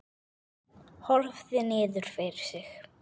Horfði niður fyrir sig.